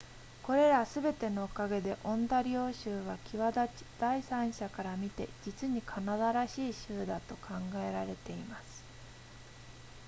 これらすべてのおかげでオンタリオ州は際立ち第三者から見て実にカナダらしい州だと考えられています